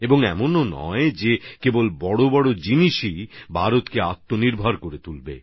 আর এটাই নয় যে শুধুমাত্র বড় বড় জিনিসই ভারতকে আত্মনির্ভর করবে